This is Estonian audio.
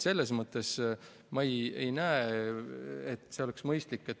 Selles mõttes ma ei näe, et see keelamine on mõistlik.